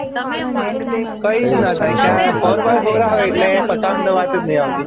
કયી જ ના થાય ક્યાંય four by four આવે એટલે ફસાવા ની વાત જ નહિ આવતી